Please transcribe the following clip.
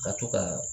Ka to ka